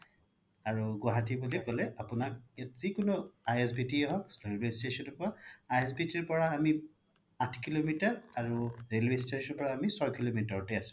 আৰু গুৱাহাতি বুলি ক্'লে আপোনাক ইয়াত যিকোনো ISBT য়ে হওক railway station য়ে হওক ISBT ৰ পৰা আমি আঠ kilometer আৰু railway station ৰ পৰা আমি চয় kilometer ত য়ে আছো